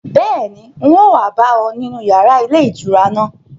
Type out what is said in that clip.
Bẹ́ẹ̀ni, un ó wa bá ọ nínú yàrá ilé ìtura náà